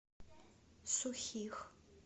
сухих